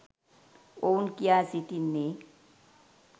ඔවුන් කියා සිටින්නේ.